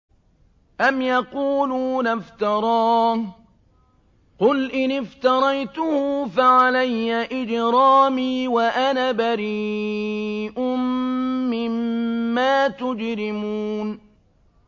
أَمْ يَقُولُونَ افْتَرَاهُ ۖ قُلْ إِنِ افْتَرَيْتُهُ فَعَلَيَّ إِجْرَامِي وَأَنَا بَرِيءٌ مِّمَّا تُجْرِمُونَ